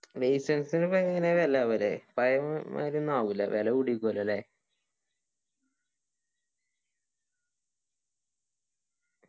licence ന് ഒന്നും അങ്ങനെ അല്ല അവര് ഫയ അങ്ങനെ ഒന്നും ആവുല്ല വിലകൂടിക്കുലല്ലേ